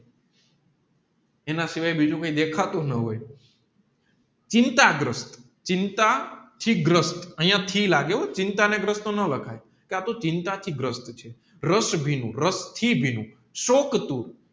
એના સિવાય બીજું કોઈ દેખાતું ન હોય ચિન્તા ગ્રસ્ત ચિંતા થી ગ્રસ્ત અહીંયા લાગે હો ચીંતાનાગ્રસ્ત નો લખાય કા તોહ ચિંતા થઇ ગ્રસ્થછે રસભીનું રસ થી ભીનું શોકાતુ